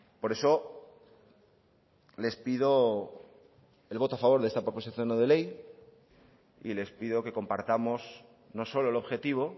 por eso les pido el voto a favor de esta proposición no de ley y les pido que compartamos no solo el objetivo